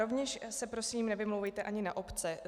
Rovněž se prosím nevymlouvejte ani na obce.